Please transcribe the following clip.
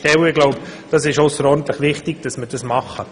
Ich glaube, es ist ausserordentlich wichtig, dass wir das machen.